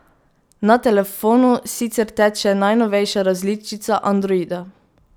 Na telefonu sicer teče najnovejša različica androida.